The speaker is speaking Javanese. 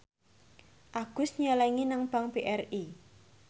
Agus nyelengi nang bank BRI